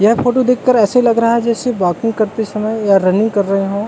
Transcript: यह फोटो देखकर ऐसे लग रहा है जैसे वाकिंग करते समय या रनिंग कर रहे हो।